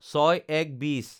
০৬/০১/২০